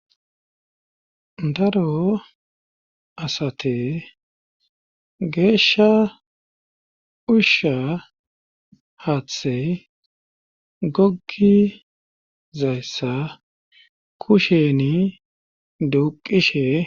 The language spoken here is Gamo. daro asate geeshsha ushsha haaththey goggi zayssa kusheni duqishe